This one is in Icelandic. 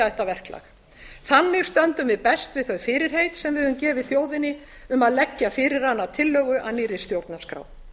þetta verklag þannig stöndum við best við þau fyrirheit sem við höfum gefið þjóðinni um að leggja fyrir hana tillögu að nýrri stjórnarskrá